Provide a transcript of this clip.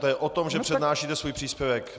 To je o tom, že přednášíte svůj příspěvek.